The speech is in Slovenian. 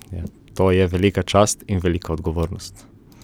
To je velika čast in velika odgovornost.